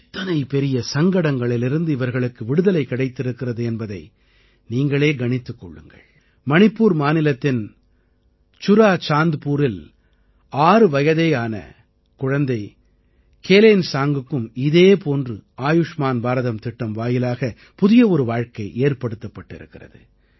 எத்தனை பெரிய சங்கடங்களிலிருந்து இவர்களுக்கு விடுதலை கிடைத்திருக்கிறது என்பதை நீங்களே கணித்துக் கொள்ளுங்கள் மணிப்பூர் மாநிலத்தின் சுராசாந்த்புரில் ஆறு வயதேயான குழந்தை கேலேன்சாங்க்குக்கும் இதே போன்று ஆயுஷ்மான் பாரதம் திட்டம் வாயிலாக புதிய ஒரு வாழ்க்கை ஏற்படுத்தப்பட்டிருக்கிறது